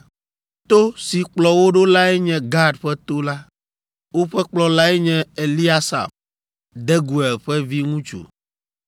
To si kplɔ wo ɖo lae nye Gad ƒe to la. Woƒe kplɔlae nye Eliasaf, Deguel ƒe viŋutsu.